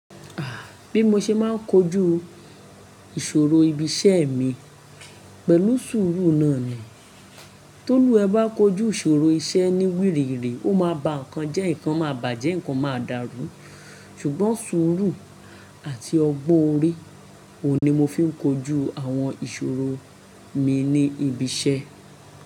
Ah! Bí mo ṣe máa ń kojú ìṣòro ibi iṣẹ́ mi pẹ̀lú sùúrù náà ni. Tólú wa ẹ bá kojú ìṣòro iṣẹ́ ní wírì wírì, ó máa ba nǹkan jẹ́, nǹkan máa bàjẹ́, nǹkan máa dàrú. Ṣùgbọ́n sùúrù àti ọgbón órí ohun ni mo fi ń kojú àwọn ìṣòro mi ní ibi iṣẹ́